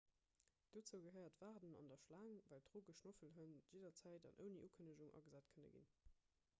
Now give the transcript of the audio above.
dozou gehéiert d'waarden an der schlaang well drogeschnoffelhënn jidderzäit an ouni ukënnegung agesat kënne ginn